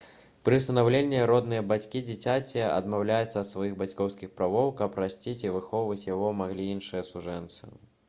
пры ўсынаўленні родныя бацькі дзіцяці адмаўляюцца ад сваіх бацькоўскіх правоў каб расціць і выхоўваць яго маглі іншыя сужэнцы